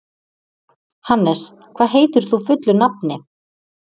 Hannes, hvað heitir þú fullu nafni?